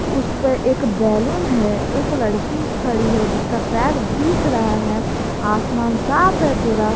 उसपे एक एक बैलून है एक लड़की खड़ी है जिसका पैर दिख रहा है आसमान साफ है पूरा।